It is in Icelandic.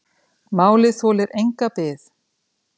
Málið þolir enga bið.